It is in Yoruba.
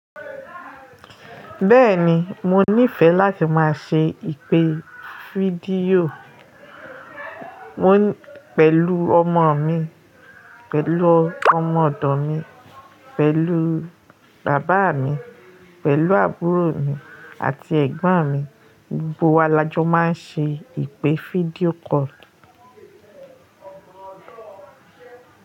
Bẹ́ẹ̀ni, mo nífẹ̀ẹ́ láti máa ṣe ìpè fídíò pẹ̀lú ọmọ mi, pẹ̀lú ọmọ ọ̀dọ̀ mi, pẹ̀lú bàbá mi, pẹ̀lú àbúrò mi àti ẹ̀gbọ́n mi. Gbogbo wa lajọ máa n ṣe ìpè fídíò call.